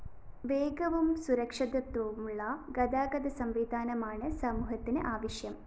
േവഗവും സുരക്ഷിതത്വവുമുള്ള ഗതാഗതസംവിധാനമാണ് സമൂഹത്തിന് ആവശ്യം